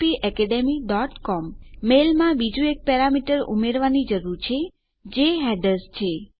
આપણા મેલ માં બીજું એક પેરામીટર ઉમેરવાની જરૂર છે જે હેડર્સ છે